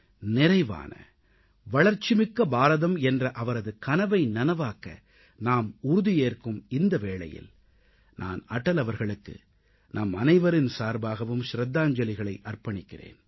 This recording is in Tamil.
நிறைவான வளர்ச்சிமிக்க பாரதம் என்ற அவரது கனவை நனவாக்க நாம் உறுதி ஏற்கும் இந்த வேளையில் நான் அடல் அவர்களுக்கு நம்மனைவரின் சார்பாகவும் ஷிரதாஞ்சலிகளை அர்ப்பணிக்கிறேன்